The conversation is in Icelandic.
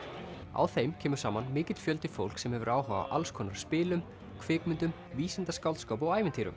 á þeim kemur saman mikill fjöldi fólks sem hefur áhuga á alls konar spilum kvikmyndum vísindaskáldskap og ævintýrum